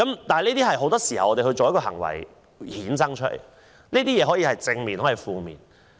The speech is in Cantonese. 但是，很多時候，我們的行為可以帶來正面效果，也可以帶來負面效果。